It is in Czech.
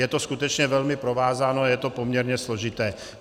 Je to skutečně velmi provázáno a je to poměrně složité.